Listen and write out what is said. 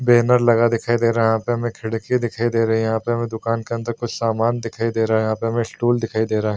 Banner लगा दिखाई दे रहा है यहाँ पे हमें खिड़की दिखाई दे रही है यहाँ पे हमें दुकान के अंदर कुछ सामान दिखाई दे रहा है यहाँ पे हमें स्टूल दिखाई दे रहा है।